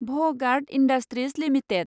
भ guard industries limited